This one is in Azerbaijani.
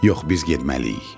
Yox, biz getməliyik.